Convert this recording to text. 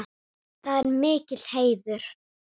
Það er mikill heiður.